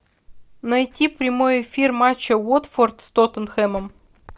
найти прямой эфир матча уотфорд с тоттенхэмом